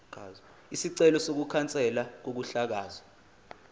isicelo sokukhanselwa kokuhlakazwa